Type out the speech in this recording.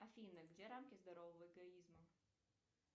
афина где рамки здорового эгоизма